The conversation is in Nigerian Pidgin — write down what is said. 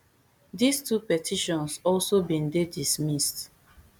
dis two petitions also bin dey dismissed